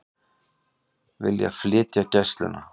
Vilja flytja Gæsluna